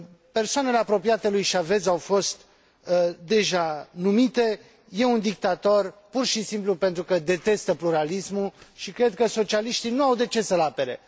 Persoanele apropiate lui Chávez au fost deja numite. E un dictator pur și simplu pentru că detestă pluralismul și cred că socialiștii nu au de ce să l apere.